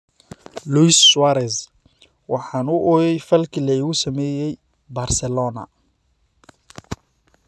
Luis Suarez: Waxaan u ooyay falkii la igu sameeyay Barcelona